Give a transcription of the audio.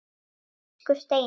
Elsku Steini.